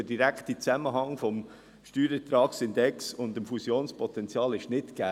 Der direkte Zusammenhang zwischen dem Steuerertragsindex und dem Fusionspotenzial ist nicht gegeben.